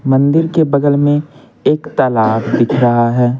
मंदिर के बगल में एक तालाब दिख रहा है।